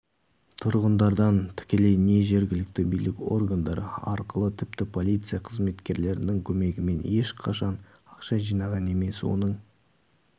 тұрғындардан тікелей не жергілікті билік органдары арқылы тіпті полиция қызметкерлерінің көмегімен ешқашан ақша жинаған емес оның